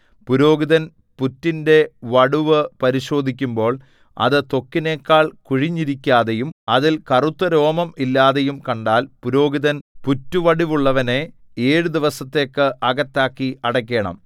പുരോഹിതൻ പുറ്റിന്റെ വടുവ് പരിശോധിക്കുമ്പോൾ അത് ത്വക്കിനെക്കാൾ കുഴിഞ്ഞിരിക്കാതെയും അതിൽ കറുത്ത രോമം ഇല്ലാതെയും കണ്ടാൽ പുരോഹിതൻ പുറ്റുവടുവുള്ളവനെ ഏഴു ദിവസത്തേക്ക് അകത്താക്കി അടയ്ക്കേണം